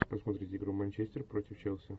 посмотреть игру манчестер против челси